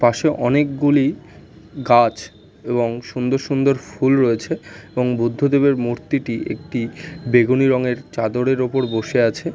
পাশে অনেকগুলি গাছ এবং সুন্দর সুন্দর ফুল রয়েছে। এবং বুদ্ধদেবের মূর্তিটি একটি বেগুনি রঙের চাঁদরের ওপর বসে আছে।